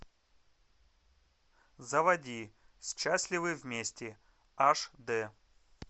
заводи счастливы вместе аш д